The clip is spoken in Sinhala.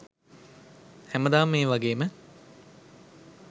හැමදාම මේ වගේම